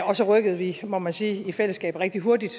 og så rykkede vi må man sige i fællesskab rigtig hurtigt